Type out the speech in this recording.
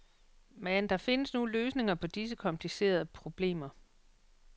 Men findes der nu løsninger på disse komplicerede problemer.